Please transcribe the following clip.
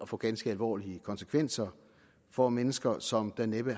få ganske alvorlige konsekvenser for mennesker som der næppe